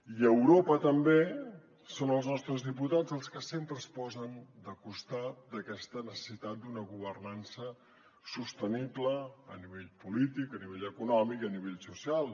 i a europa també són els nostres diputats els que sempre es posen de costat d’aquesta necessitat d’una governança sostenible a nivell polític a nivell econòmic i a nivell social